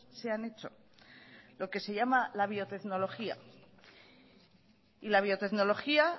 se han hecho lo que se llama la biotecnología y la biotecnología